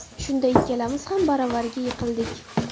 Shunda ikkalamiz ham baravariga yiqildik.